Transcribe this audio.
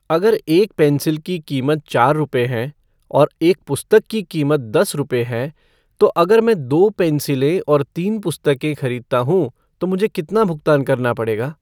अगर एक पेंसिल की कीमत चार रुपए है और एक पुस्तक की कीमत दस रुपए है तो अगर मैं दो पेन्सिलें और तीन पुस्तकें खरीदता हूँ तो मुझे कितना भुगतान करना पड़ेगा